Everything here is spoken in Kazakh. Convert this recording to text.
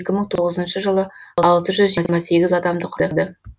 екі мың тоғызыншы жылы алты жүз жиырма сегіз адамды құрады